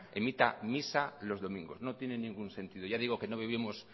emita misa los domingos no tiene ningún sentido ya digo que no vivimos